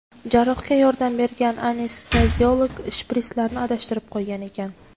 Jarrohga yordam bergan anesteziolog shprislarni adashtirib qo‘ygan ekan.